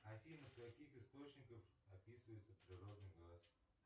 афина в каких источниках описывается природный газ